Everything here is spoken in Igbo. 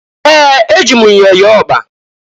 Ee! Eji m myọ yọọ ọkpa.